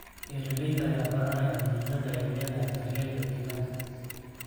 Beeralayda ayaa baranaya muhiimadda ay leedahay daryeelka deegaanka.